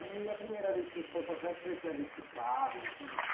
E a primeira vez que você foi para a cidade, você já tinha visto carro, já tinha visto